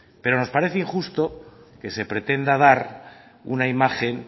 pero nos parece injusto que se pretenda dar una imagen